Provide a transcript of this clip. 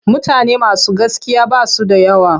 Mutane masu gaskiya ba su da yawa.